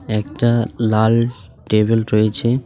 একটা লাল টেবিল রয়েছে।